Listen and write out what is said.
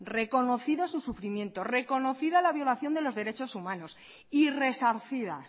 reconocido su sufrimiento reconocida la violación de los derechos humanos y resarcida